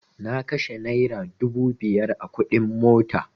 Na kashe naira dubu biyar a kuɗin mota